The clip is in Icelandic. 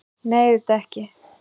Nei, auðvitað ekki!